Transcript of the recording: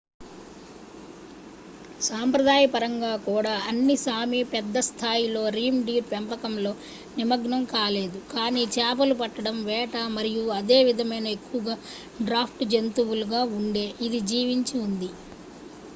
సంప్రదాయపరంగా కూడా అన్ని సామీ పెద్ద స్థాయి లో రీండీర్ పెంపకంలో నిమగ్నం కాలేదు కానీ చేపలు పట్టడం వేట మరియు అదే విధమైన ఎక్కువగా డ్రాఫ్ట్ జంతువులు గా ఉండే ఇది జీవించి ఉంది